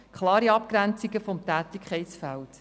Es geht um klare Abgrenzungen des Tätigkeitsfelds.